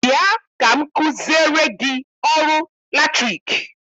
Bịa ka m kụziere gị ọrụ latriki!